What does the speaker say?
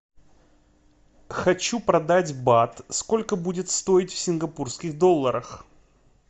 хочу продать бат сколько будет стоить в сингапурских долларах